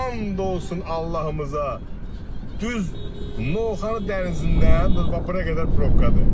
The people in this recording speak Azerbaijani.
And olsun Allahımıza, düz Novxanı dənizindən bura qədər probkadır.